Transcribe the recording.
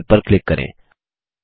don't save पर click करें